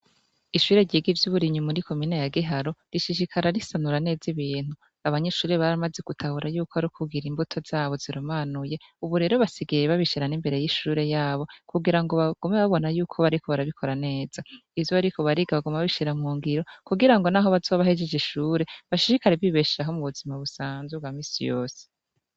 Ishure ryiga ivyo uburinyu muri komine ya giharo rishishikara risanura neza ibintu abanyishure bari amaze gutahura yuko ari kugira imbuto zabo zirumanuye, ubu rero basigaye babishirana imbere y'ishure yabo kugira ngo bagume babona yuko bariko barabikora neza ivyo bariko bariga baguma bbishira mwungiro kugira ngo, naho bazobahejeje ishure bashishikari bibeshaho mu buzima busanzuga misi yose.